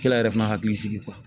Kɛla yɛrɛ fana hakili sigi